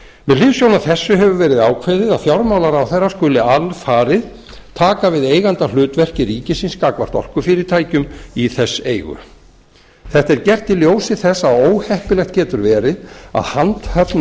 með hliðsjón af þessu hefur verið ákveðið að fjármálaráðherra skuli alfarið taka við eigandahlutverki ríkisins gagnvart orkufyrirtækjum í þess eigu þetta er gert í ljósi þess að óheppilegt getur verið að handhöfn